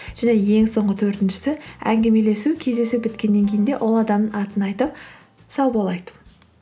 және ең соңғы төртіншісі әңгімелесу кездесу біткеннен кейін де ол адамның атын айтып сау бол айту